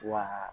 Wa